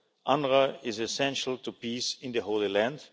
UNRWA is essential to peace in the Holy Land.